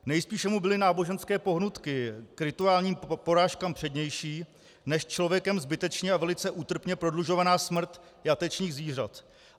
Nejspíše mu byly náboženské pohnutky k rituálním porážkám přednější než člověkem zbytečně a velice útrpně prodlužovaná smrt jatečných zvířat.